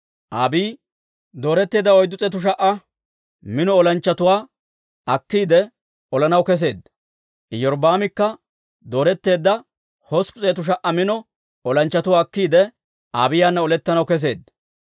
Abiiyi dooretteedda 400,000 mino olanchchatuwaa akkiide, olanaw kesseedda; Iyorbbaamikka dooretteedda 800,000 mino olanchchatuwaa akkiide, Abiiyaana olettanaw kesseedda.